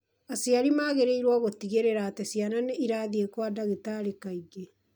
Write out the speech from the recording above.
Aciari magĩrĩirũo gũtigĩrĩra atĩ ciana nĩ irathiĩ kwa ndagĩtarĩ kaingĩ.